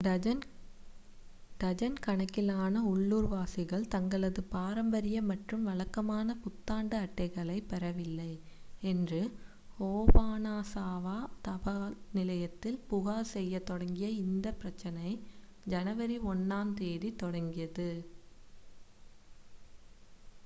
dozen கணக்கிலான உள்ளூர்வாசிகள் தங்களது பாரம்பரிய மற்றும் வழக்கமான புத்தாண்டு அட்டைகளைப் பெறவில்லை என்று ஓபனாசாவா தபால் நிலையத்தில் புகார் செய்யத் தொடங்கிய இந்த பிரச்சனை ஜனவரி 1-ஆம் தேதி தொடங்கியது